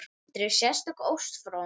Andri: Sérstök ósk frá honum?